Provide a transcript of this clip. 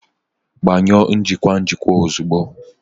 Gbanyụọ njikwa njikwa ozugbo!